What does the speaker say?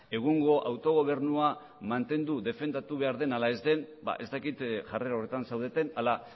egungo autogobernua mantendu defendatu behar den ala ez den ez dakit jarrera horretan zaudeten ala